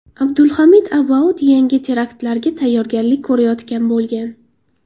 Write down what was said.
Abdulhamid Abaud yangi teraktlarga tayyorgarlik ko‘rayotgan bo‘lgan.